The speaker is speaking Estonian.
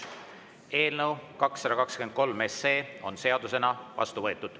Eelnõu 223 on seadusena vastu võetud.